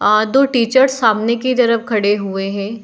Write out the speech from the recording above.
अ दो टीचर्स सामने की तरफ खड़े हुए है।